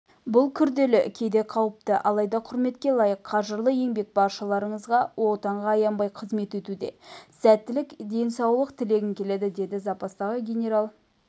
бұл күрделі кейде қауіпті алайда құрметке лайық қажырлы еңбек баршаларыңызға отанға аянбай қызмет етуде сәттілік денсаулық тілегім келеді деді запастағы генерал-майор